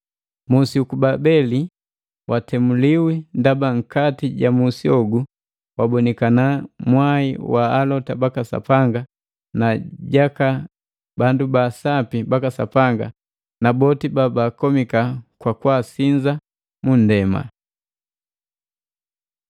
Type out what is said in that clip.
Musi uku Babeli watemuliwa ndaba nkati ja musi hogu wabonikana mwai wa alota baka Sapanga na jaka bandu baasapi baka Sapanga na boti ba bakomika kukwasinza mu nndema.